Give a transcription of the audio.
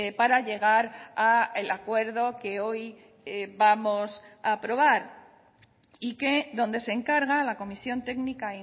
para llegar al acuerdo que hoy vamos a aprobar y que donde se encarga a la comisión técnica